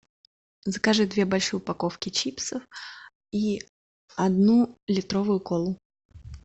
закажи две большие упаковки чипсов и одну литровую колу